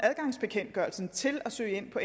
adgangsbekendtgørelsen til at søge ind på